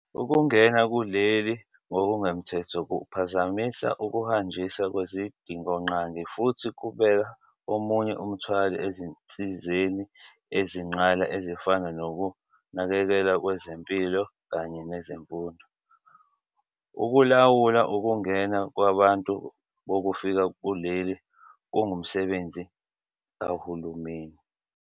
Ukungena kuleli ngokungemthetho kuphazamisa ukuhanjiswa kwezidingonqangi futhi kubeka omunye umthwalo ezinsizeni ezinqala ezifana nokunakekelwa kwezempilo kanye nezemfundo. Ukulawula ukungena kwabantu bokufika kuleli kungumsebenzi kahulumeni.